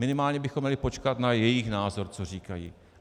Minimálně bychom měli počkat na jejich názor, co říkají.